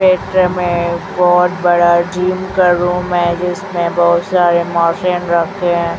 एक ड्रम हैं बहोत बड़ा जिम का रूम हैं जिसमें बहोत सारे मोशिन रखे हैं।